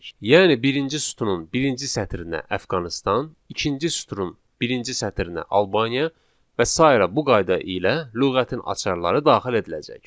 Yəni birinci sütunun birinci sətrinə Əfqanıstan, ikinci süturun birinci sətrinə Albaniya və sairə bu qayda ilə lüğətin açarları daxil ediləcək.